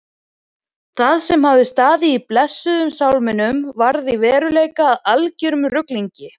Það sem hafði staðið í blessuðum sálminum varð í veruleikanum að algerum ruglingi.